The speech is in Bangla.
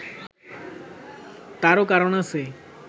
তারও কারণ আছে।